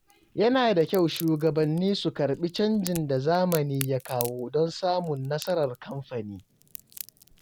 Yana da kyau shugabanni su ƙarbi canjin da zamani ya kawo don samun nasarar kamfani.